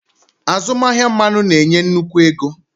Azụmahịa mmanụ na-enye nnukwu ego.